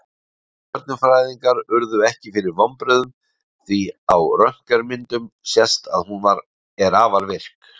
Stjörnufræðingar urðu ekki fyrir vonbrigðum því á röntgenmyndum sést að hún er afar virk.